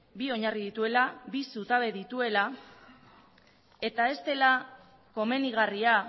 bi oinarri dituela bi zutabe dituela eta ez dela komenigarria